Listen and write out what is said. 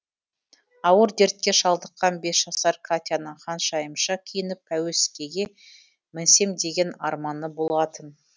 ауыр дертке шалдыққан бес жасар катяның ханшайымша киініп пәуескеге мінсем деген арманы болатын